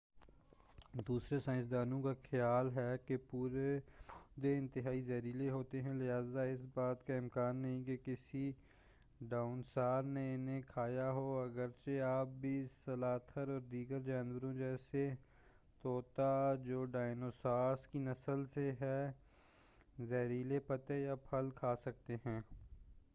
دوسرے سائنسدانوں کا خیال ہے کہ یہ پودے انتہائی زہریلے ہوتے ہیں لہٰذا اس بات کا امکان نہیں کہ کسی ڈائنوسار نے انہیں کھایا ہو، اگرچہ آج بھی سلاتھ اور دیگر جانور جیسے طوطا جو ڈائنوسارز کی نسل سے ہیں زہریلے پتے یا پھل کھا سکتے ہیں۔